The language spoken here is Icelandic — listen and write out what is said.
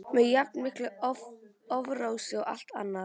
með jafn miklu offorsi og allt annað.